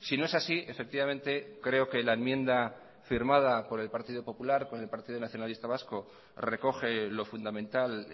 si no es así efectivamente creo que la enmienda firmada por el partido popular con el partido nacionalista vasco recoge lo fundamental